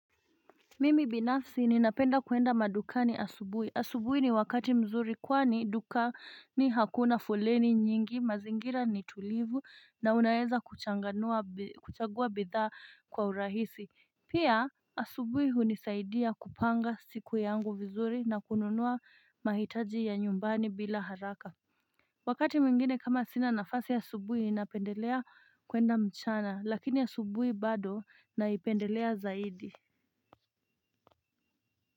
Mimi binafsi ninapenda kuenda madukani asubuhi asubuhi ni wakati mzuri kwani dukani hakuna foleni nyingi mazingira ni tulivu na unaweza kuchanganua kuchagua bidhaa kwa urahisi pia asubuhi hunisaidia kupanga siku yangu vizuri na kununua mahitaji ya nyumbani bila haraka Wakati mingine kama sina nafasi asubuhi napendelea kuenda mchana lakini asubuhi bado naipendelea zaidi.